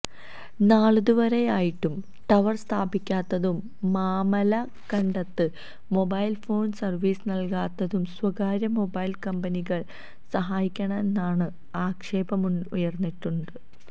നാളിതു വരെയായിട്ടും ടവര് സ്ഥാപിക്കാത്തതും മാമലക്കണ്ടത്ത് മൊബൈല് ഫോണ് സര്വീസ് നല്കാത്തതും സ്വകാര്യ മൊബൈല് കമ്പനികളെ സഹായിക്കാനാണെന്ന് ആക്ഷേപമുയര്ന്നിട്ടുണ്ട്